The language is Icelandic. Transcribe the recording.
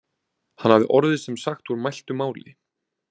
Hann hafði orðið sem sagt úr mæltu máli.